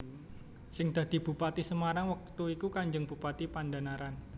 Sing dadi Bupati Semarang wektu iku Kanjeng Bupati Pandhanaran